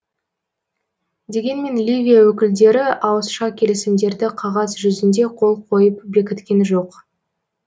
дегенмен ливия өкілдері ауызша келісімдерді қағаз жүзінде қол қойып бекіткен жоқ